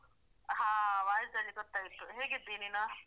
ಹಾ voice ಅಲ್ಲಿ ಗೊತ್ತಾಯ್ತು ಹೇಗಿದ್ದಿ ನೀನು?